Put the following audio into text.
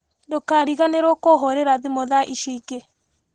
Ndũkariganĩrwo kũhũrĩra thimũ thaa icio ingĩ.